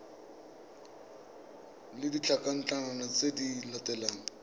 le ditlankana tse di latelang